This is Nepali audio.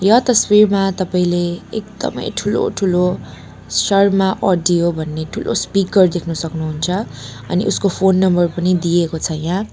यो तस्वीरमा तपाईँले एकदमै ठूलोठूलो शर्मा अडियो भन्ने ठूलो स्पिकर देख्नु सक्नुहुन्छ अनि उसको फोन नम्बर पनि दिएको छ यहाँ।